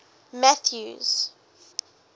mathews